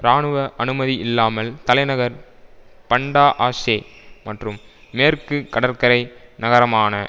இராணுவ அனுமதி இல்லாமல் தலைநகர் பண்டா ஆஷே மற்றும் மேற்கு கடற்கரை நகரமான